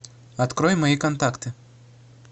открой мои контакты